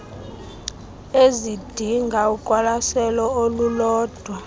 ezidinga uqwalaselo olulodwa